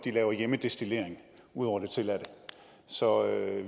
laver hjemmedestillering ud over det tilladte så